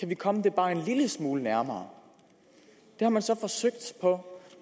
vi komme det bare en lille smule nærmere det har man så forsøgt på